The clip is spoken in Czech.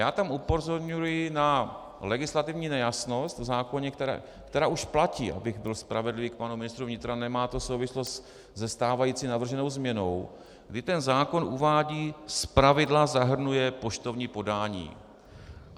Já tam upozorňuji na legislativní nejasnost v zákoně, která už platí, abych byl spravedlivý k panu ministru vnitra, nemá to souvislost se stávající navrženou změnou, kdy ten zákon uvádí "zpravidla zahrnuje poštovní podání".